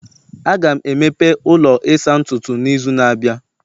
Aga m emepe ụlọ ịsa ntutu n'izu na-abịa